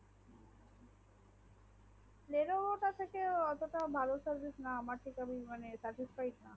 lenevo তা থেকেও অতটা ভালো service না আমার তা যেমন service পায়